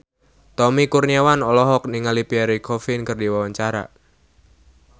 Tommy Kurniawan olohok ningali Pierre Coffin keur diwawancara